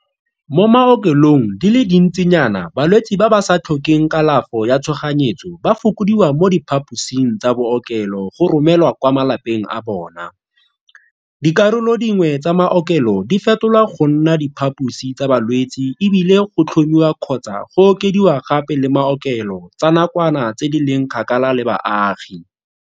Mo maokelong di le dintsinyana balwetse ba ba sa tlhokeng kalafo ya tshoganyetso ba fokodiwa mo diphaposing tsa bookelo go romelwa kwa malapeng a bona, dikarolo dingwe tsa maokelo di fetolwa go nna diphaposi tsa balwetse e bile go tlhomiwa kgotsa go okediwa gape le maokelo tsa nakwana tse di leng kgakala le baagi.